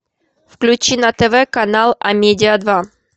включи на тв канал амедиа два